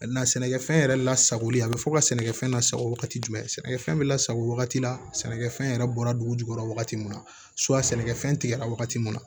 sɛnɛkɛfɛn yɛrɛ lasagolen a bɛ fɔ ka sɛnɛkɛfɛn lasago wagati jumɛn sɛnɛkɛfɛn bɛ lasago wagati la sɛnɛkɛfɛn yɛrɛ bɔra dugu jukɔrɔ wagati min na sɛnɛkɛfɛn tigɛra wagati min na